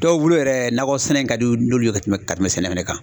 Dɔw bolo yɛrɛ nakɔ sɛnɛ in ka di n'olu ye ka tɛmɛ ka tɛmɛ sɛnɛ fɛnɛ kan.